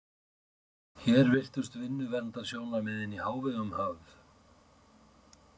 Hér virtust vinnuverndarsjónarmiðin í hávegum höfð.